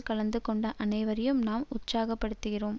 கலந்துகொண்ட அனைவரையும் நாம் உற்சாகப்படுத்துகிறோம்